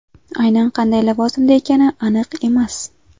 Aynan qanday lavozimda ekani aniq emas.